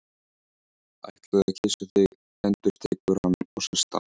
Ætlaði að kyssa þig, endurtekur hann og sest upp.